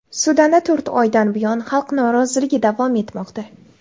Sudanda to‘rt oydan buyon xalq noroziligi davom etmoqda.